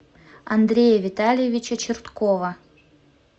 андрея витальевича черткова